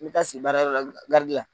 N taa si baarayɔrɔ la